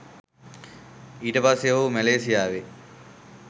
ඊට පස්සේ ඔහු මැලෙසියාවේ